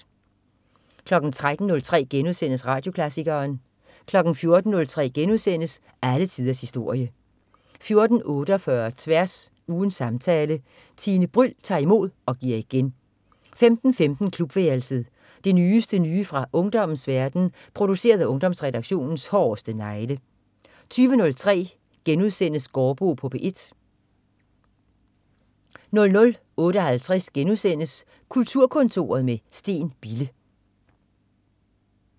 13.03 Radioklassikeren* 14.03 Alle tiders historie* 14.48 Tværs. Ugens samtale. Tine Bryld tager imod og giver igen 15.15 Klubværelset. Det nyeste nye fra ungdommens verden, produceret af Ungdomsredaktionens hårdeste negle 20.03 Gaardbo på P1* 00.58 Kulturkontoret med Steen Bille*